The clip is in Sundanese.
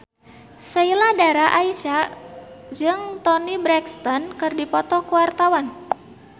Sheila Dara Aisha jeung Toni Brexton keur dipoto ku wartawan